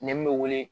Nɛn min bɛ wele